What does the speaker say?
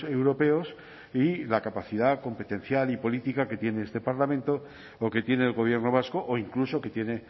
europeos y la capacidad competencial y política que tiene este parlamento o que tiene el gobierno vasco o incluso que tiene